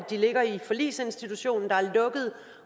de ligger i forligsinstitutionen der er lukket